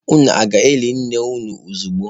Unu aga-eli nne unu ozogbu?